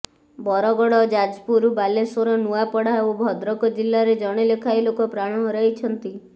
ବରଗଡ଼ ଯାଜପୁର ବାଲେଶ୍ୱର ନୂଆପଡ଼ା ଓ ଭଦ୍ରକ ଜିଲ୍ଲାରେ ଜଣେ ଲେଖାଏଁ ଲୋକ ପ୍ରାଣ ହରାଇଛନ୍ତି